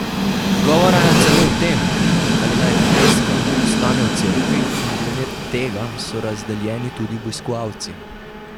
Govora je celo o tem, ali naj freska ostane v cerkvi, in glede tega so razdeljeni tudi obiskovalci.